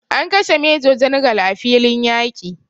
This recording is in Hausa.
An kashe major general a filiin yaƙi